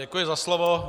Děkuji za slovo.